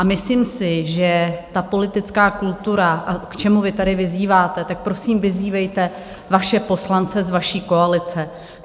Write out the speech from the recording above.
A myslím si, že ta politická kultura, k čemu vy tady vyzýváte, tak prosím, vyzývejte vaše poslance z vaší koalice.